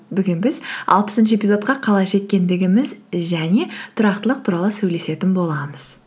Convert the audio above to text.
бүгін біз алпысыншы эпизодқа қалай жеткендігіміз және тұрақтылық туралы сөйлесетін боламыз